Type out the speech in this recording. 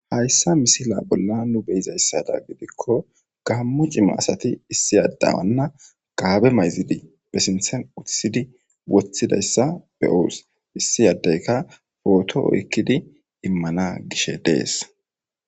Hayssa misile bolla nu be'izayssidan gidikko Gamo cimma asatti issi addanna gabbe mayzidi ba sinththen uttissidi woththidayssa be'os. Issi addeykka oroththo oykkidi immanan dishshe de'es.